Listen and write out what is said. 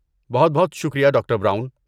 بہت بہت شکریہ ڈاکٹر براؤن۔